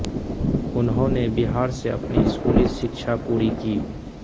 उन्होंने बिहार से अपनी स्कूली शिक्षा पूरी की